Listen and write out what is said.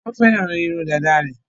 Wọ́n fẹ́ràn irun dàda rẹ̀.